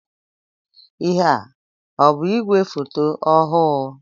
Ihé a ọ bụ igwe foto ọhụụ?